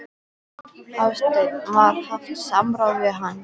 Hafsteinn: Var haft samráð við hann?